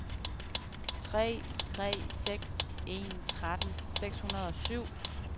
tre tre seks en tretten seks hundrede og syv